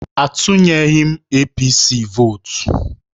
Atunyeghị m APC vootu